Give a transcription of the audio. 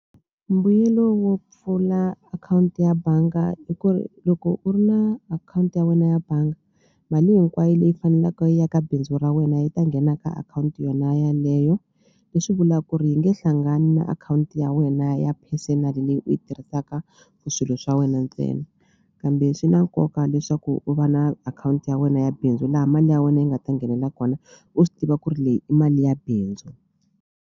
Mbuyelo wo pfula akhawunti ya banga i ku ri loko u ri na akhawunti ya wena ya banga mali hinkwayo leyi fanelaka yi ya ka bindzu ra wena yi ta nghena ka akhawunti yona yaleyo leswi vula ku ri yi nge hlangani na akhawunti ya wena ya personal leyi u yi tirhisaka for swilo swa wena ntsena kambe swi na nkoka leswaku u va na akhawunti ya wena ya bindzu laha mali ya wena yi nga ta nghenela kona u swi tiva ku ri leyi i mali ya bindzu.